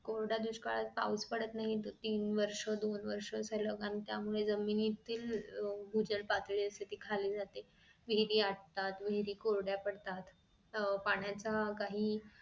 कोरडा दुष्काळात पाऊस पडत नाही. तीन वर्ष दोन वर्ष झालं त्यामुळे जमिनीतील अह भूजल पातळी असते ती खाली जाते विहिरी आटतात विहिरी कोरड्या पडतात. पाण्याचा काही